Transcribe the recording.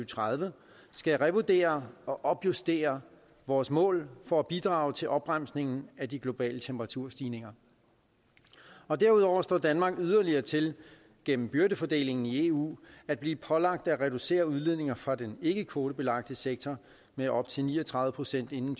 tredive skal revurdere og opjustere vores mål for at bidrage til opbremsningen af de globale temperaturstigninger derudover står danmark yderligere til gennem byrdefordelingen i eu at blive pålagt at reducere udledninger fra den ikkekvotebelagte sektor med op til ni og tredive procent inden